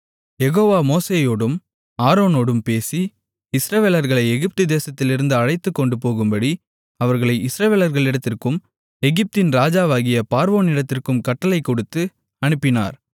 யெகோவா மோசேயோடும் ஆரோனோடும் பேசி இஸ்ரவேலர்களை எகிப்து தேசத்திலிருந்து அழைத்துக்கொண்டு போகும்படி அவர்களை இஸ்ரவேலர்களிடத்திற்கும் எகிப்தின் ராஜாவாகிய பார்வோனிடத்திற்கும் கட்டளைக் கொடுத்து அனுப்பினார்